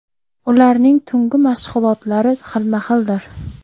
Ularning tungi mashg‘ulotlari xilma-xildir.